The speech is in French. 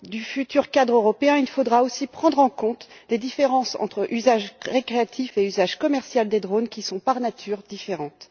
le futur cadre européen, prendre en compte les différences entre usage récréatif et usage commercial des drones, qui sont par nature différents.